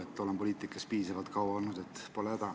Ma olen poliitikas piisavalt kaua olnud, pole häda.